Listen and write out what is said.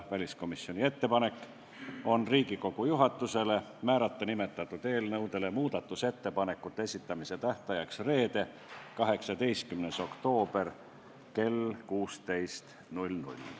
Väliskomisjoni ettepanek on määrata Riigikogu juhatusele nimetatud eelnõude kohta muudatusettepanekute esitamise tähtajaks reede, 18. oktoober kell 16.